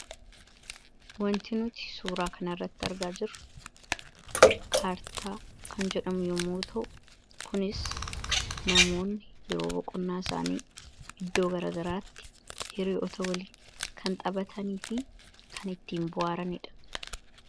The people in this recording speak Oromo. wanti nuti suuraa kan irratti argaa jiru kaartaa kan jedhamu yommuuta'u kunis namoonni yeroo boqonnaa isaanii iddoo garagaraatti hiriyoota waliin kan xabatanii fi kan ittiin bu'aaraniidha